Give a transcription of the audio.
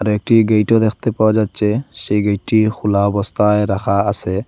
একটি গেইটও দেখতে পাওয়া যাচ্ছে সেই গেইটটি খুলা অবস্থায় রাখা আসে।